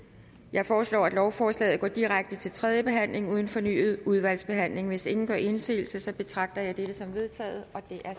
jeg foreslår at lovforslaget går direkte til tredje behandling uden fornyet udvalgsbehandling hvis ingen gør indsigelse betragter jeg dette som vedtaget